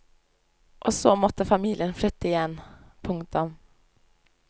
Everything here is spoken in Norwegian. Og så måtte familien flytte igjen. punktum